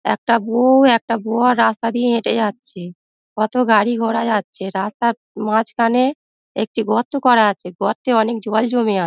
একটা বৌ একটা বর রাস্তা দিয়ে হেটে যাচ্ছে কত গাড়ি ঘোড়া যাচ্ছে রাস্তার মাঝখানে একটি গর্ত করা আছে গর্তে অনেক জল জমে আ--